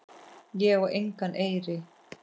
Ég á engan eyri.